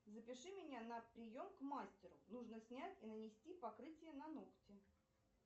запиши меня на прием к мастеру нужно снять и нанести покрытие на ногти